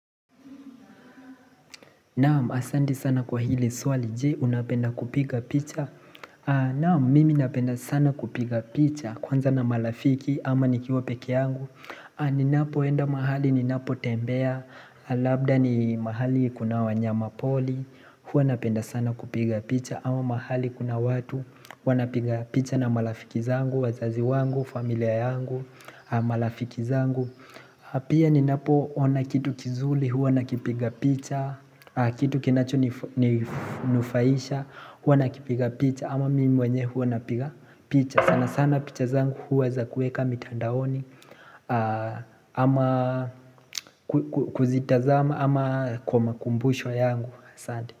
Naam, asante sana kwa hili swali, je, unapenda kupiga picha? Naam, mimi napenda sana kupiga picha, kwanza na marafiki, ama nikiwa peke yangu Ninapoenda mahali, ninapotembea, labda ni mahali kuna wanyama pori Huwa napenda sana kupiga picha, ama mahali kuna watu, huwa napiga picha na marafiki zangu, wazazi wangu, familia yangu, marafiki zangu Pia ninapoona kitu kizuri huwa nakipiga picha. Kitu kinachoninufaisha huwa nakipiga picha ama mimi mwenyewe huwa napiga picha. Sana sana picha zangu huwa za kuweka mitandaoni ama kuzitazama ama kwa makumbusho yangu. Asante.